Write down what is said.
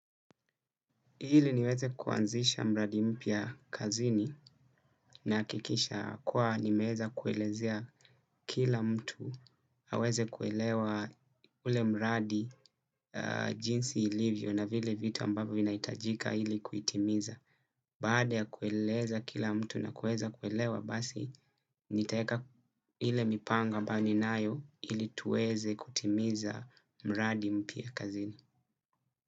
Ili niweze kuanzisha mradi mpya kazini, nahakikisha kuwa nimeeza kuelezea kila mtu aweze kuelewa ule mradi jinsi ilivyo na vile vitu ambavyo vinahitajika ili kuitimiza. Baada ya kueleza kila mtu na kueza kuelewa basi nitaeka ile mipango ambayo ninayo ili tuweze kutimiza mradi mpya kazini.